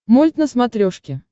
мульт на смотрешке